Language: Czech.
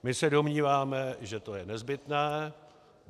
My se domníváme, že to je nezbytné.